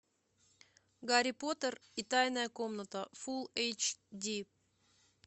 гарри поттер и тайная комната фул эйч ди